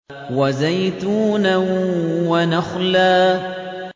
وَزَيْتُونًا وَنَخْلًا